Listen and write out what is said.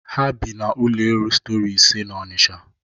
Ha bi n'ụlọ elu stori ise n'Onisha